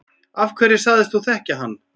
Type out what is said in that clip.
Af hverju sagðist þú þekkja hann?